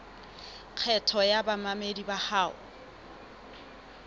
kgetho ya bamamedi bao ho